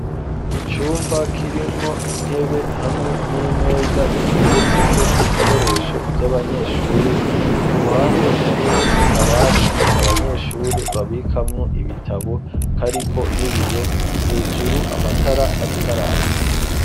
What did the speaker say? Icumba kirimwo intebe hamwe n'imeza ziteretseko ibikoresho vy'abanyeshure ku ruhande hariho akabati abanyeshure babikamwo ibitabo kariko n'ibiyo hejuru amatara ariko araka.